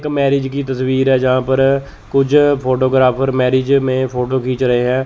Marriage की तस्वीर हैं जहां पर कुछ फोटो ग्राफर मैरिज में फोटो खींच रहे हैं।